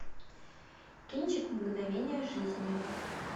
кинчик мгновения жизни